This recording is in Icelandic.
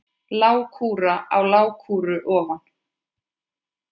Lágkúra á lágkúru ofan.